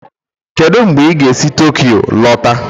Kedu mgbe ị ga-esi Tokyo lọta?